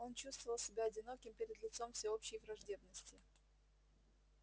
он чувствовал себя одиноким перед лицом всеобщей враждебности